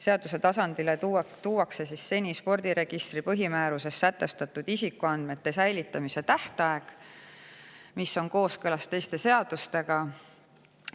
Seaduse tasandile tuuakse seni spordiregistri põhimääruses kehtestatud isikuandmete säilitamise tähtaeg, mis hakkab olema kooskõlas teiste seadustega.